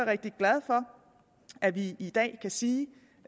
rigtig glad for at vi i dag kan sige